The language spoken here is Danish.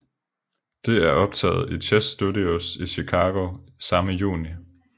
Det er optaget i Chess Studios i Chicago samme juni